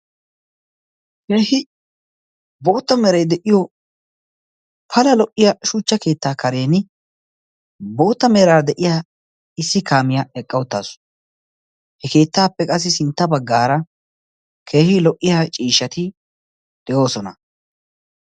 Issi bootta meray de'iyoo pala lo"iyaa shuuchcha keettaa kareen bootta meeraara issi kaamiyaa eqqa uttaasu. he keettaappe qassi sintta baggaara keehi lo"iyaa ciishshati de"oosona.